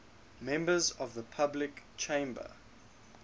members of the public chamber